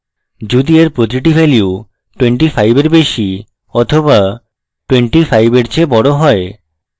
যদি এর প্রতিটি ভ্যালু 25 এর বেশী বা 25 এর চেয়ে বড় হয়